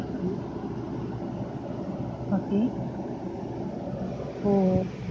okay okay ஒ ஒ